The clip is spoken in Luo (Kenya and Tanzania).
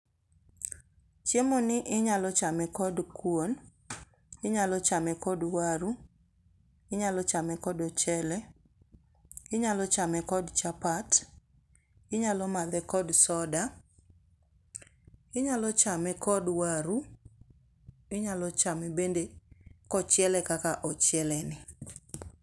Chiemo ni inyalo chame kod kuon, inyalo chame kod waru, inyalo chame kod ochele, inyalo chame kod chapat, inyamadhe kod soda, inyalo chame kod waru, inyalo chamo bende kochiele kaka ochiele ni.